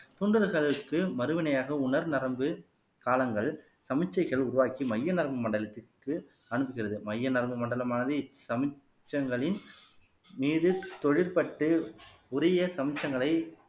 மறுவினையாக உணர் நரம்பு காலங்கள் சமிச்சைகள் உருவாக்கி மைய நரம்பு மண்டலத்திற்கு அனுப்புகிறது மைய நரம்பு மண்டலமானது சமிச்சைகளின் மீது தொழில் பட்டு உரிய சமிச்சங்களை